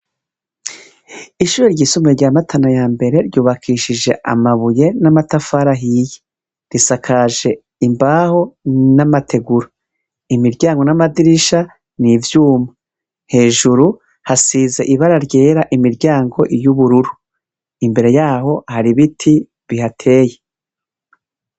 Ishure ry'isumbuye rya matana ya mbere ryubakishije amabuye n'amatafari ahiye, risakaje imbaho n'amategura, imiryango n'amadirisha n'ivyuma, hejuru hasize ibara ryera, imiryango y'ubururu, imbere yaho hari ibiti bihateye.